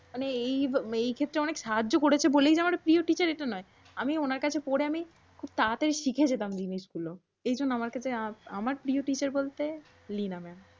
মানে এই ক্ষেত্রে অনেক সাহাজ্য করেছে বলেই আমার প্রিয় টিচার এটা নয়। আমি ওনার কাছে পরে আমি খুব তাড়াতাড়ি শিখে যেতাম জিনিসগুল। এইজন্য আমার কাছে আমার প্রিয় টিচার বলতে লীনা ম্যাম।